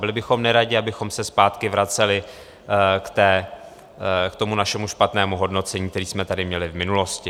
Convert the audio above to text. Byli bychom neradi, abychom se zpátky vraceli k tomu našemu špatnému hodnocení, které jsme tady měli v minulosti.